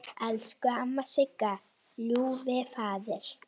Elsku amma Sigga, Ljúfi faðir!